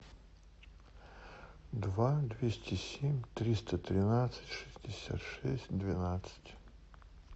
два двести семь триста тринадцать шестьдесят шесть двенадцать